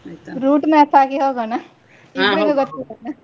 ಆಯ್ತ್ ಆಯ್ತ್ route map ಹಾಕಿ ಹೊಗೋಣ ಇಬ್ರಿಗೂ ಗೊತ್ತಿಲ್ಲ ಅಲ್ಲ.